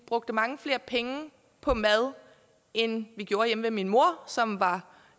brugte mange flere penge på mad end vi gjorde hjemme ved min mor som var